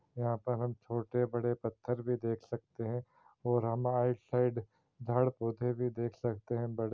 यहाँ पर हम छोटे-बड़े पत्थर भी देख सकते है और साइड भी देख सकते है बड़े---